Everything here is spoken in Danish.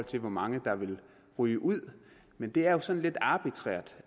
til hvor mange der ville ryge ud men det er jo sådan lidt arbitrært